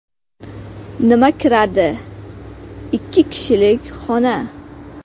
Nima kiradi: Ikki kishilik xona.